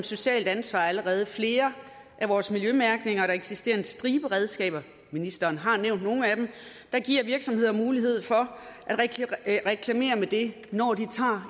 socialt ansvar allerede indgår i flere af vores miljømærkninger der eksisterer en stribe redskaber ministeren har nævnt nogle af dem der giver virksomheder mulighed for at reklamere med det når de tager